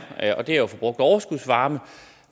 og det er jo at få brugt overskudsvarme